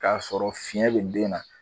K'a sɔrɔ fiɲɛ be den na